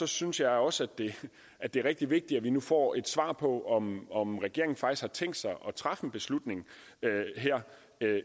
synes jeg også at det er rigtig vigtigt at vi nu får et svar på om om regeringen faktisk har tænkt sig at træffe en beslutning